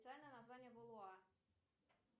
официальное название булуа